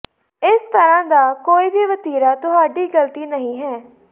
ਇਸ ਤਰ੍ਹਾਂ ਦਾ ਕੋਈ ਵੀ ਵਤੀਰਾ ਤੁਹਾਡੀ ਗਲਤੀ ਨਹੀਂ ਹੈ